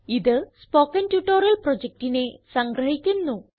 ഇത് spoken tutorial പ്രൊജക്റ്റിനെ സംഗ്രഹിക്കുന്നു